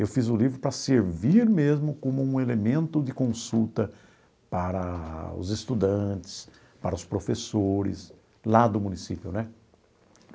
Eu fiz o livro para servir mesmo como um elemento de consulta para os estudantes, para os professores lá do município, né?